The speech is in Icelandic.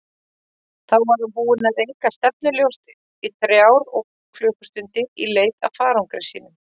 Þá var hann búinn að reika stefnulaust í þrjár klukkustundir í leit að farangri sínum.